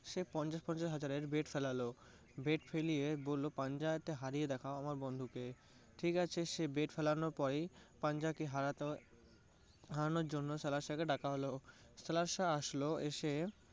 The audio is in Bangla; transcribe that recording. সে পঞ্চাশ পঞ্চাশ হাজারের bet ফেলালো। bet ফেলিয়ে বললো পঞ্চাশ হাজারে হারিয়ে দেখা আমার বন্ধুকে। ঠিক আছে সে bet ফেলানোর পরেই পাঞ্জা কে হারাতো~ হারানোর জন্য ডাকা হলো। আসলো এসে